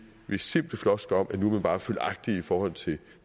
simple floskler om at nu er vi bare følgagtige i forhold til